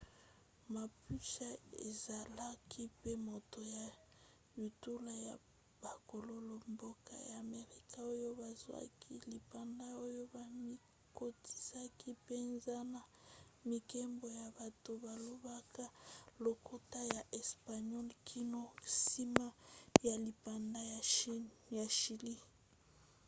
mapuche ezalaki mpe moto ya bitulu ya bakolo-mboka ya amerika oyo bazwaki lipanda oyo bamikotisaki mpenza na mibeko ya bato balobaka lokota ya espagnol kino nsima ya lipanda ya chilie